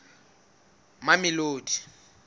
mamelodi